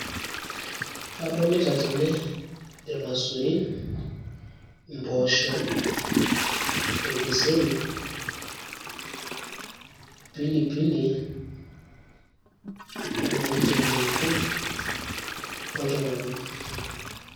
kadoilita tene ilmasurin, impoosho, olkeseri, pilipili nadolita endengu ooltung`anak.